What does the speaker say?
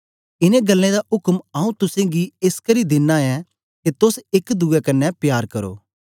इनें गल्लें दा उक्म आऊँ तुसेंगी एसकरी दिना ऐं के तोस एक दुए कन्ने प्यार करो